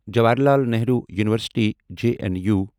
Jawaharlal Nehru University J N U